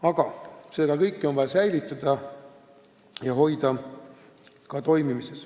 Aga seda kõike on vaja toimimas hoida.